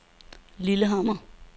Lillehammer